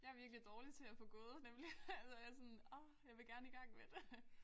Jeg er virkelig dårlig til at få gået nemlig altså jeg er sådan orh jeg vil gerne i gang med det